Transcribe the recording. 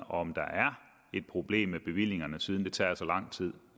om der er et problem med bevillingerne siden det tager så lang tid